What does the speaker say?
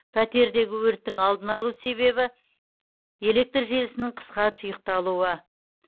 пәтердегі өрттің алдын алу себебі электр желісінің қысқа тұйықталуы